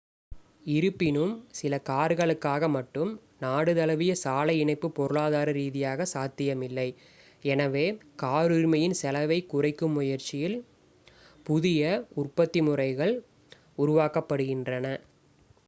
இருப்பினும் சில கார்களுக்காக மட்டும் நாடு தழுவிய சாலை இணைப்பு பொருளாதார ரீதியாக சாத்தியமில்லை எனவே கார் உரிமையின் செலவைக் குறைக்கும் முயற்சியில் புதிய உற்பத்தி முறைகள் உருவாக்கப்படுகின்றன